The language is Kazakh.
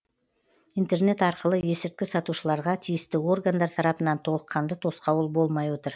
интернет арқылы есірткі сатушыларға тиісті органдар тарапынан толыққанды тосқауыл болмай отыр